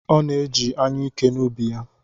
Ọ na-eji anyụike n’ubi ya.